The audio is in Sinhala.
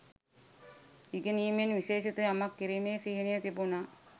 ඉගෙනීමෙන් විශේෂිත යමක් කිරීමේ සිහිනය තිබුණා